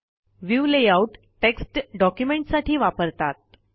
view layout text डॉक्युमेंटसाठी वापरतात